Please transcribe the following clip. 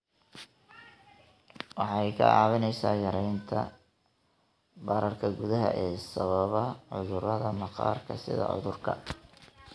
Waxay kaa caawinaysaa yaraynta bararka gudaha ee sababa cudurrada maqaarka sida cudurka